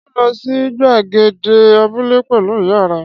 Ṣé ò ń lọ sí gbàgede abúlé pẹ̀lú ìyá rẹ?